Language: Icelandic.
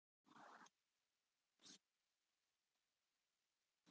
ÞÓRBERGUR: Sóla, þurfum við alltaf að vera að rífast?